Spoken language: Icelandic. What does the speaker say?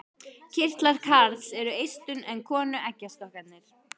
Kynkirtlar karls eru eistun en konu eggjastokkarnir.